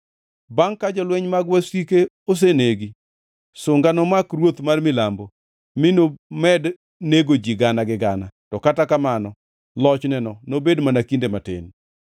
Bangʼ ka jolweny mag wasike osenegi, sunga nomak ruoth mar milambo mi nomed nego ji gana gi gana, to kata kamano lochneno nobed mar kinde matin.